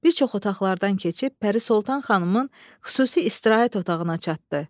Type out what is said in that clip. Bir çox otaqlardan keçib Pərisoltan xanımın xüsusi istirahət otağına çatdı.